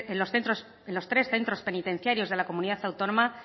en los tres centros penitenciarios de la comunidad autónoma